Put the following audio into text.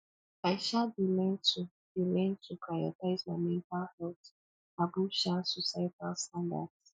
i um dey learn to dey learn to prioritize my mental health above um societal standards